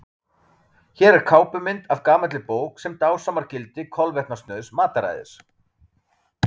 hér er kápumynd af gamalli bók sem dásamar gildi kolvetnasnauðs mataræðis